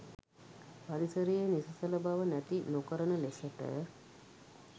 පරිසරයේ නිසසල බව නැති නොකරන ලෙසට